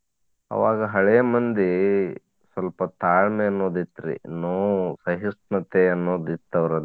ಅವಾಗ ಹಳೆ ಮಂದಿ ಸ್ವಲ್ಪ ತಾಳ್ಮೆ ಅನ್ನೋದ್ ಇತ್ರಿ ನೋವು ಸಹಿಷ್ಣುತೆ ಅನ್ನೋದ್ ಇತ್ತ್ ಅವ್ರಲ್ಲಿ.